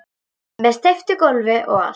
Með steyptu gólfi og allt